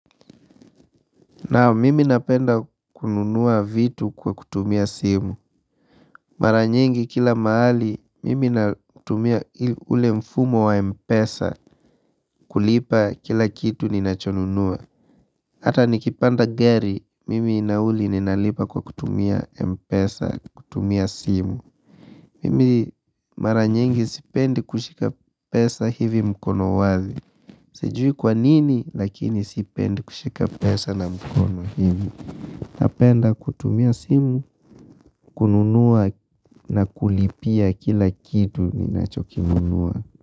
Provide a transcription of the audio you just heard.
Naam mimi napenda kununua vitu kwa kutumia simu. Mara nyingi kila mahali mimi natumia ule mfumo wa mpesa kulipa kila kitu ninachonunua. Hata nikipanda gari mimi nauli ninalipa kwa kutumia mpesa kutumia simu. Mimi mara nyingi sipendi kushika pesa hivi mkono wazi. Sijui kwanini lakini sipendi kushika pesa na mkono hivi. Napenda kutumia simu, kununua na kulipia kila kitu ninachokinunua.